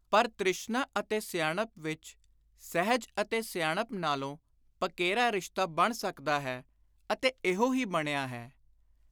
ਪਰ ਤਿ੍ਸ਼ਨਾ ਅਤੇ ਸਿਆਣਪ ਵਿਚ, ਸਹਿਜ ਅਤੇ ਸਿਆਣਪ ਨਾਲੋਂ ਪਕੇਰਾ ਰਿਸ਼ਤਾ ਬਣ ਸਕਦਾ ਹੈ ਅਤੇ ਇਹੋ ਹੀ ਬਣਿਆ ਹੈ।